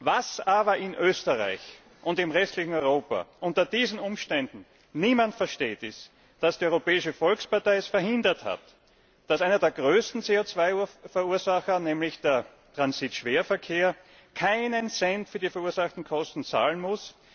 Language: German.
Was aber in Österreich und im restlichen Europa unter diesen Umständen niemand versteht, ist, dass die Europäische Volkspartei es verhindert hat, dass einer der größten CO 2 Verursacher, nämlich der Transitschwerverkehr, auch nur einen Cent für die verursachten Kosten zahlen muss.